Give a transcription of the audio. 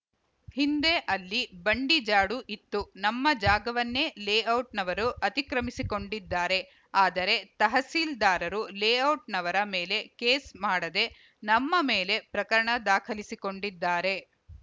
ಹಿಂದೆ ಅಲ್ಲಿ ಬಂಡಿ ಜಾಡು ಇತ್ತು ನಮ್ಮ ಜಾಗವನ್ನೇ ಲೇಔಟ್‌ನವರು ಅತಿಕ್ರಮಿಸಿಕೊಂಡಿದ್ದಾರೆ ಆದರೆ ತಹಸೀಲ್ದಾರರು ಲೇಔಟ್‌ನವರ ಮೇಲೆ ಕೇಸ್‌ ಮಾಡದೇ ನಮ್ಮ ಮೇಲೆ ಪ್ರಕರಣ ದಾಖಲಿಸಿಕೊಂಡಿದ್ದಾರೆ